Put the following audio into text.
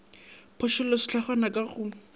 a phošolle sehlangwa ka go